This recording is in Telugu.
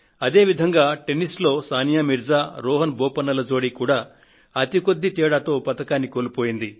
అదే విధంగా టెన్నిస్ లో సానియా మీర్జా రోహన్ బోపన్నల జోడీ కూడా అతి కొద్ది తేడాతో పతకాన్ని కోల్పోయింది